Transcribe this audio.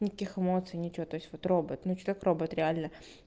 никаких эмоций ничего то есть вот робот ну человек робот реально